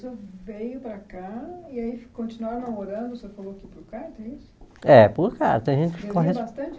E aí o senhor veio para cá e aí continuaram namorando, o senhor falou que por carta, é isso? É por carta tem gente que corres bastante